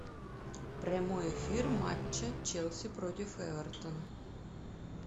прямой эфир матча челси против эвертон